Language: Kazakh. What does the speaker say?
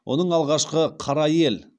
оның алғашқы қара ел